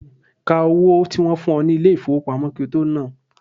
Ka owó tí wọ́n fún ọ ní ilé ìfowópamọ́ kí ó tó nán an.